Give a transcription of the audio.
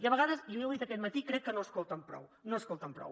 i a vegades i ja ho he dit aquest matí crec que no escolten prou no escolten prou